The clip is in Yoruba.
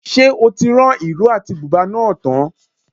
Ṣé o ti rán ìró àti bùbá náà tán?